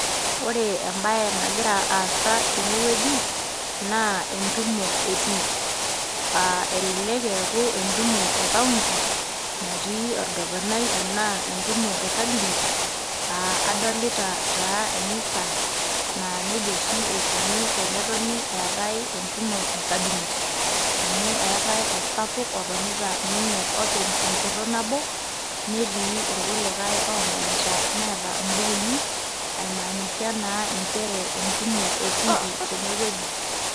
Ore embae nagira aasa tene wueji naa entumo etiiiki , aa elelek eaku entumo e county natii orgavanai naa entumo e cabinet aa adolita taaa emisa naaa nejia oshi eikoni tenetoni eetae entumo e cabinet. Amu eetae osapuk otonita ninye tenchoto nabo, netii irkulie omanita , neeta imbukui aimaanisha naa nchere entumo etikii tene wueji.